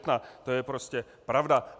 To je prostě pravda.